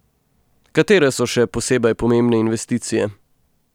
Katere so še posebej pomembne investicije?